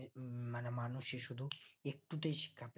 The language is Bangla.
মানে মানুষের শুধু একটুতেই শিক্ষা